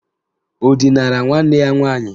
Ọ dinara nwanne ya nwaanyị?